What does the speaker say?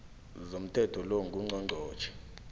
zomthetho lo ngungqongqotjhe